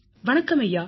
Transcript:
வணக்கம் ஐயா